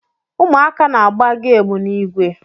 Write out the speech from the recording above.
Ụmụaka na-agba gamu in igwe